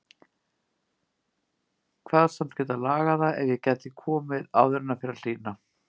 Kvaðst samt geta lagað það ef ég gæti komið áður en fer að hlýna.